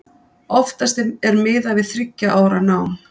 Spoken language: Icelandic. Oftast er miðað við þriggja ára nám.